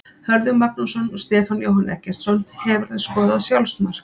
Hörður Magnússon og Stefán Jóhann Eggertsson Hefurðu skorað sjálfsmark?